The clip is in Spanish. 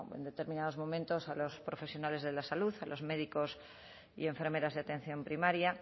bueno en determinados momentos a los profesionales de la salud a los médicos y enfermeras de atención primaria